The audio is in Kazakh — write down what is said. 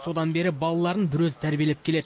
содан бері балаларын бір өзі тәрбиелеп келеді